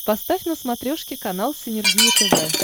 поставь на смотрешке канал синергия тв